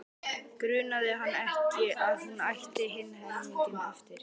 Grunaði hann ekki að hún ætti hinn helminginn eftir?